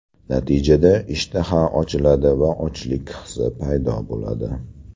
Natijada ishtaha ochiladi va ochlik hissi paydo bo‘ladi.